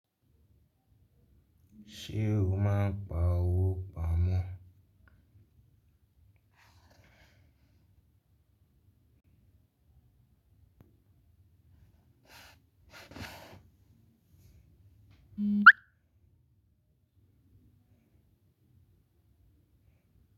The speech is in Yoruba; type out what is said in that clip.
Ṣé o máa ń pa òwò pamọ́?